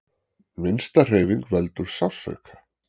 Minnsta hreyfing veldur sársauka.